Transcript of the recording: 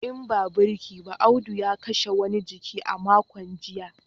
In ba birki ba Audu ya kashe wani jiki a makon jiya